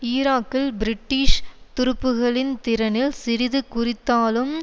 ஈராக்கில் பிரிட்டிஷ் துருப்புக்களின் திறனில் சிறிது குறித்தாலும்